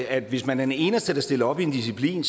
at hvis man er den eneste der stiller op i en disciplin